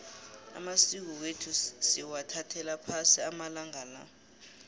amasiko wethu sewathathelwa phasi amalanga la